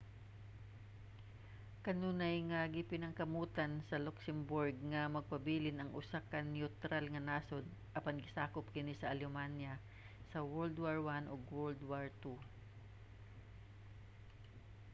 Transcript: kanunay nga gipaningkamutan sa luxembourg nga magpabilin nga usa ka neutral nga nasud apan gisakop kini sa alemanya sa world war i ug world war ii